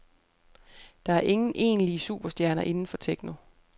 Der er ingen egentlige superstjerner inden for techno.